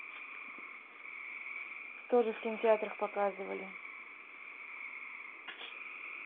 тоже в кинотеатрах показывали